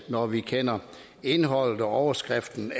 når vi kender indholdet og overskriften